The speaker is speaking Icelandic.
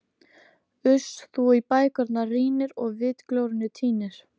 Uss, þú í bækurnar rýnir og vitglórunni týnir.